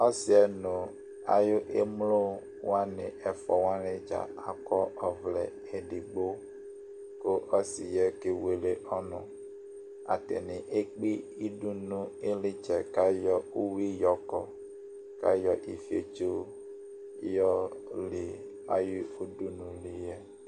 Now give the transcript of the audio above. Ɔsiɛ ŋu ayʋ emlowaŋi ɛfʋa waŋi dza akɔ ɔvlɛ ɛɖigbo Ɔsiɛ kewele ɔnu Ataŋi ekpe iɖʋ ŋu iɣlitsɛ kʋ ayɔ uwi yɔkɔ Ayɔ ɛyɛɖi fiotso yɔli ayʋ ʋɖʋnu liɛ